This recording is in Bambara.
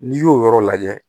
N'i y'o yɔrɔ lajɛ